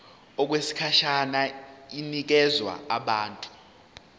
okwesikhashana inikezwa abantu